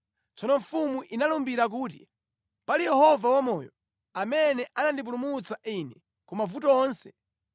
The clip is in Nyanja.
Tsono mfumu inalumbira kuti, “Pali Yehova wamoyo, amene anandipulumutsa ine ku mavuto onse,